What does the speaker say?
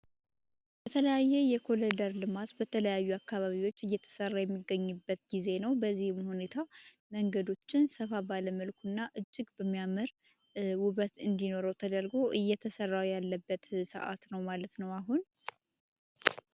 የተለያዩ የኮሊደር ልማት በተለያዩ አካባቢዎች እየተሰራ የሚገኝበት ጊዜ ነው ሁኔታው መንገዶችንና እጅግ በሚያምር ውበት እንዲኖረው ተደርጎ እየተሰራው ያለበት ነው ማለት ነው አሁን